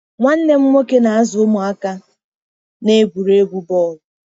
Nwanne m nwoke na-azụ ụmụaka n'egwuregwu bọọlụ.